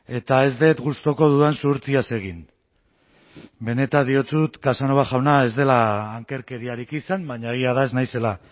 eta ez dut gustuko dudan zuhurtziaz egin benetan diotsut casanova jauna ez dela ankerkeriarik izan baina egia da ez naizela